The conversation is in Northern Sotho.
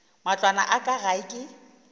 matlwana a ka gae ke